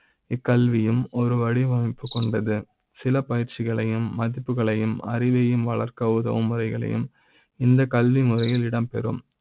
இக் கல்வி யும் ஒரு வடிவமைப்பு கொண்டது சில பயிற்சிகளையும் மதிப்புகளையும் அறிவை யும் வளர்க்க உதவு ம் முறைகளையும் இந்த கல்விமுறை யில் இடம்பெறும்